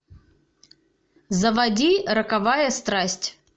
заводи роковая страсть